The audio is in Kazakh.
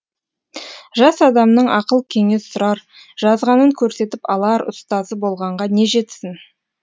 жас адамның ақыл кеңес сұрар жазғанын көрсетіп алар ұстазы болғанға не жетсін